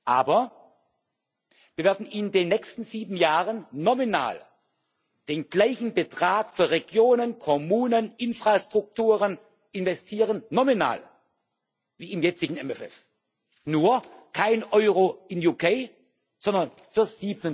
Aber wir werden in den nächsten sieben Jahren nominal den gleichen Betrag für Regionen, Kommunen, Infrastrukturen investieren nominal wie im jetzigen MFR, nur kein Euro im VK, sondern für